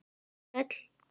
Sæll